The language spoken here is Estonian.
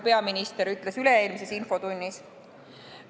Nii ütles ta üle-eelmises infotunnis.